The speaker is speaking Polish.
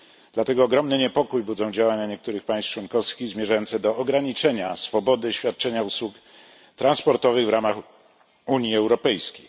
Dlatego ogromny niepokój budzą działania niektórych państw członkowskich zmierzające do ograniczenia swobody świadczenia usług transportowych w ramach Unii Europejskiej.